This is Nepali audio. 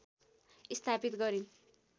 स्थापित गरिन्